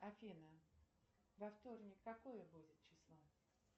афина во вторник какое будет число